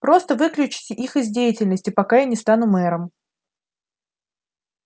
просто выключите их из деятельности пока я не стану мэром